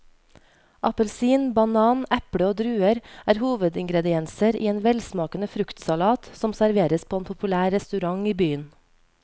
Appelsin, banan, eple og druer er hovedingredienser i en velsmakende fruktsalat som serveres på en populær restaurant i byen.